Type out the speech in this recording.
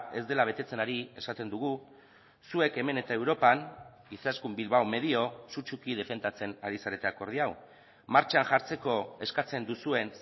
ez dela betetzen ari esaten dugu zuek hemen eta europan izaskun bilbao medio sutsuki defendatzen ari zarete akordio hau martxan jartzeko eskatzen duzuen